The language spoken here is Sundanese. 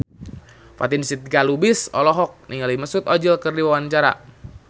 Fatin Shidqia Lubis olohok ningali Mesut Ozil keur diwawancara